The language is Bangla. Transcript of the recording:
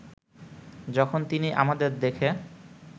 যখন তিনি আমাদের দেখে